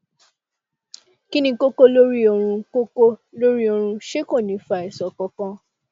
kí ni kókó lórí ọrun kókó lórí ọrun ṣé kò ní fa àìsàn kankan